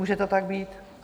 Může to tak být?